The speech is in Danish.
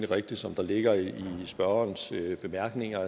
rigtigt som det ligger i spørgerens bemærkninger